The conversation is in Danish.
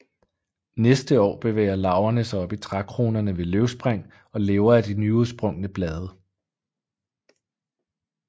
Næste år bevæger larverne sig op i trækronerne ved løvspring og lever af de nyudsprungne blade